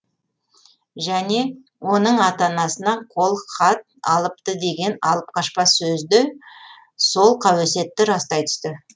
және оның ата анасынан қол хат алыпты деген алып қашпа сөз де сол қауесетті растай түсті